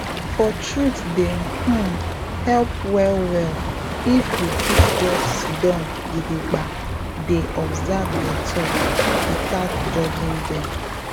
for truthe dey um help well well if you fit just siddon gidigba dey observe your thoughts without judging dem